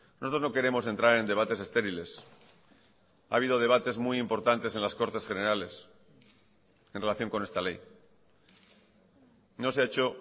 nosotros no queremos entrar en debates estériles ha habido debates muy importantes en las cortes generales en relación con esta ley no se ha hecho